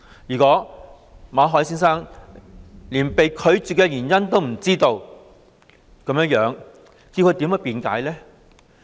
如果馬凱先生連被拒絕的原因也不知道，他如何辯解呢？